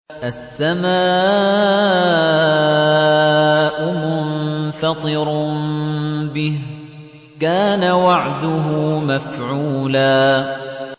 السَّمَاءُ مُنفَطِرٌ بِهِ ۚ كَانَ وَعْدُهُ مَفْعُولًا